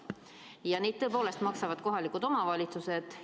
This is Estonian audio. Ja neid tõepoolest maksavad kohalikud omavalitsused.